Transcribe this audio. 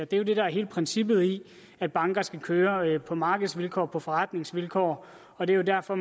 det er det der er hele princippet i at banker skal køre på markedsvilkår og på forretningsvilkår og det er derfor